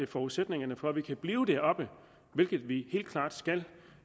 forudsætningerne for at vi kan blive deroppe hvilket vi helt klart skal